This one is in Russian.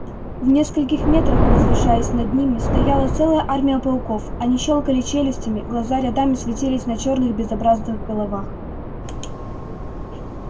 в нескольких метрах возвышаясь над ними стояла целая армия пауков они щёлкали челюстями глаза рядами светились на черных безобразных головах